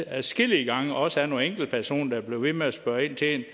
adskillige gange også af nogle enkeltpersoner der ved med at spørge ind til det